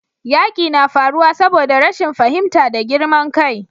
yaƙi na faruwa saboda rashin fahimta da girman kai